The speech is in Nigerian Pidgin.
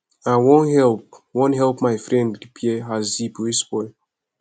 i wan help wan help my friend repair her zip wey spoil